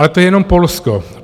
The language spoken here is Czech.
Ale to je jenom Polsko.